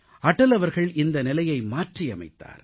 அடல் அவர்கள் இந்த நிலையை மாற்றியமைத்தார்